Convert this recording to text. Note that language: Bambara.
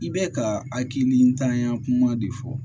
I bɛ ka hakili ntanya kuma de fɔ